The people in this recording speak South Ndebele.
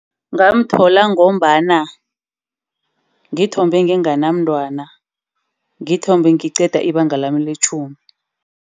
Ngamthola ngombana ngithombe nginganamntwana. Ngithombe ngiqeda ibanga lami letjhumi.